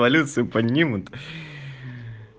полиции поднимут